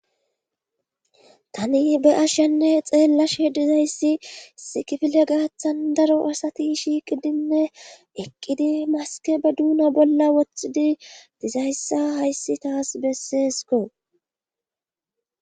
tani be ashenne xeellashe dizayssi sikifile gaaththan daro asati shiiqidinne eqqidi maske be duuna bolla wothidi dizayssa hayssi taas besseesko